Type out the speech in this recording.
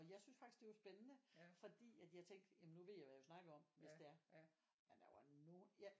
Og jeg syntes faktisk det var spændende fordi jeg at tænkte jamen nu ved jeg jo hvad jeg vil snakke om hvis det nu er men der var nogen